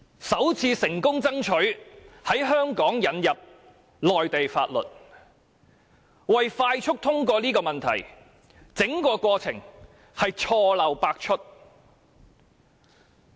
首次成功爭取在香港引入內地法律，而為了快速通過《條例草案》，整個過程錯漏百出。